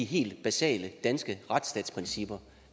helt basale danske retsstatsprincipper